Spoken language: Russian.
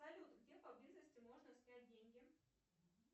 салют где поблизости можно снять деньги